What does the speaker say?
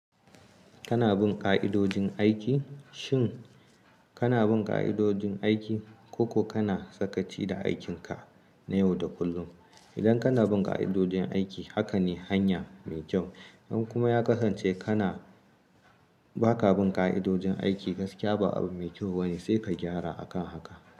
Kana bin ƙa'idojin aiki? Shin kana bin ƙa'idojin aiki ko kana sakaci da aikinka na yau da kullum? Idan kana bin ƙa'idojin aiki, haka ne hanya mai kyau. In kuma ya kasance kana ba ka bin ƙa'idojin aiki, gaskiya ba abu mai kyau bane. Sai ka gyara a kan haka.